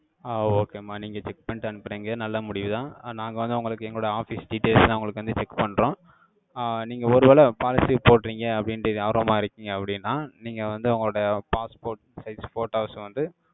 ஆஹ் okay ம்மா, நீங்க check பண்ணிட்டு, அனுப்பறீங்க. நல்ல முடிவுதான். நாங்க வந்து, உங்களுக்கு, எங்களோட office details லாம், உங்களுக்கு வந்து, check பண்றோம். ஆஹ் நீங்க, ஒருவேளை, policy போடுறீங்க, அப்படின்னுட்டு, ஆர்வமா இருக்கீங்க, அப்படின்னா, நீங்க வந்து, உங்களுடைய, passport size photos வந்து,